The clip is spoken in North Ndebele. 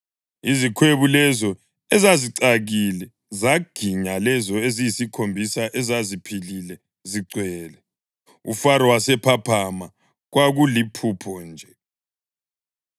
Izikhwebu lezo ezazicakile zaginya lezo eziyisikhombisa ezaziphilile, zigcwele. UFaro wasephaphama, kwakuliphupho nje.